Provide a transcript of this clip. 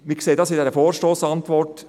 Wir sehen es in der Vorstossantwort: